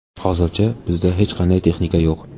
Hozircha bizda hech qanday texnika yo‘q.